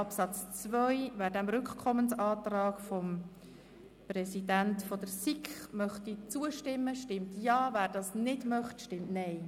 Wer dem Rückkommensantrag zustimmt, stimmt Ja, wer diesen ablehnt, stimmt Nein.